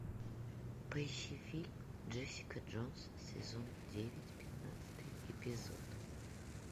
поищи фильм джессика джонс сезон девять пятнадцатый эпизод